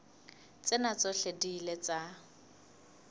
tsena tsohle di ile tsa